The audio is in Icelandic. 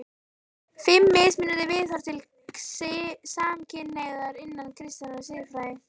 FIMM MISMUNANDI VIÐHORF TIL SAMKYNHNEIGÐAR INNAN KRISTINNAR SIÐFRÆÐI